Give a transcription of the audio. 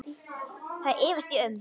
Það efast ég um.